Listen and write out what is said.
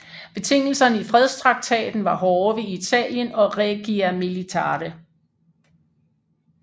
Betingelserne i fredstraktaten var hårde ved Italien og Regia Militare